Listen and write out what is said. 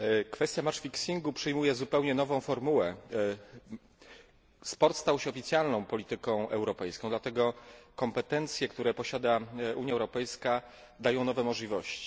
Kwestia ustawiania meczy przyjmuje zupełnie nową formułę. Sport stał się oficjalną polityką europejską, dlatego kompetencje, które posiada Unia Europejska, dają nowe możliwości.